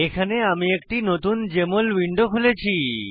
এখানে আমি একটি নতুন জেএমএল উইন্ডো খুলেছি